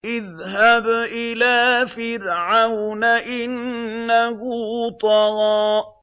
اذْهَبْ إِلَىٰ فِرْعَوْنَ إِنَّهُ طَغَىٰ